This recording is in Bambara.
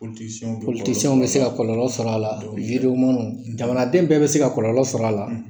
bɛ se ka kɔlɔlɔ sɔrɔ a la jamanaden bɛ bɛ se ka kɔlɔlɔ sɔrɔ a la